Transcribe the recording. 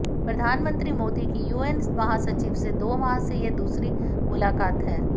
प्रधानमंत्री मोदी की यूएन महासचिव से दो माह में यह दूसरी मुलाकात है